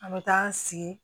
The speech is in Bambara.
An bɛ taa an sigi